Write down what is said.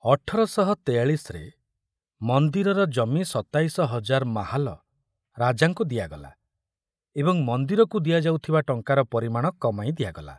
ଅଠର ଶହ ତେୟାଳିଶରେ ମନ୍ଦିରର ଜମି ସତାଇଶ ହଜାର ମାହାଲ ରାଜାଙ୍କୁ ଦିଆଗଲା ଏବଂ ମନ୍ଦିରକୁ ଦିଆଯାଉଥିବା ଟଙ୍କାର ପରିମାଣ କମାଇ ଦିଆଗଲା।